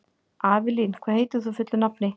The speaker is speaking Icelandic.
Avelín, hvað heitir þú fullu nafni?